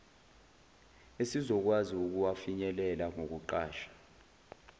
esizokwazi ukuwafinyelela ngokuqasha